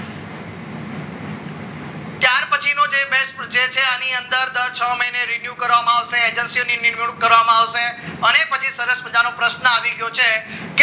એ છે આની અંદર દર છ મહિને રીન્યુ કરવામાં આવશે agent નિમણૂક કરવામાં આવશે અને પછી સરસ મજાનો પ્રશ્ન આવી ગયો છે